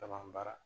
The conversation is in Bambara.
Ka ban baara